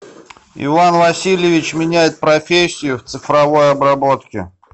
иван васильевич меняет профессию в цифровой обработке